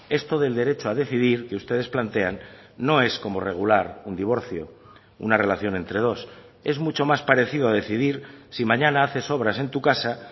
esto del derecho a decidir que ustedes plantean no es como regular un divorcio una relación entre dos es mucho más parecido a decidir si mañana haces obras en tu casa